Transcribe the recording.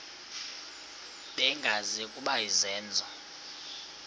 bengazi ukuba izenzo